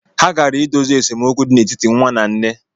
̣Ha gara idozi esemokwu di n’etiti nwa na nne